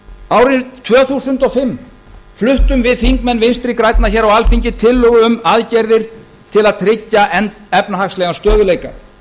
árið tvö þúsund og fimm fluttum við þingmenn vinstri grænna hér á alþingi tillögu um aðgerðir til að tryggja efnahagslegan stöðugleika